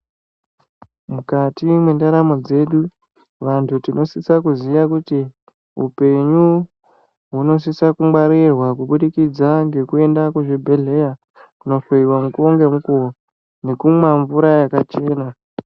Mukati mwendaramo dzedu, vantu tinosisa kuziya kuti upenyu hunosisa kungwarirwa kuburikidza ngekuenda kuzvibhedhleya kunohloyiwa mukuwo ngemukuwo, nekumwa mvura yakachena.